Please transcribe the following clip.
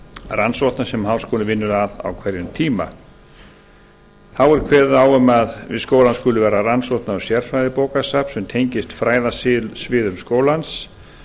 rannsókna sem háskólinn vinnur að á hverjum tíma þá er kveðið á um að við skólann skuli vera rannsókna og sérfræðibókasafn sem tengist fræðasviðum skólans